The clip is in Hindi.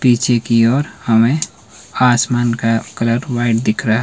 पीछे की और हमें आसमान का कलर व्हाइट दिख रहा--